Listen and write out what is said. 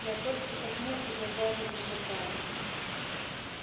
лепольд покраснел и глаза его засверкали